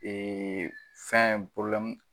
fɛn